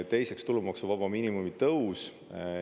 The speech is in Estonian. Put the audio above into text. Teiseks, tulumaksuvaba miinimumi tõus.